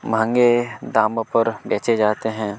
महगें दम पर बेचे जाते हैं।